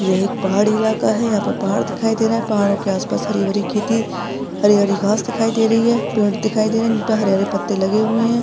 ये एक पहाड़ी इलाका है यहापर पहाड़ दिखाई दे रहे है पहाड़ो के आसपास हरी भरी खेती हरी हरी घास दिखाई दे रही है पेड़ दिखाई दे रहे है उनपे हरे हरे पत्ते लगे हुए है।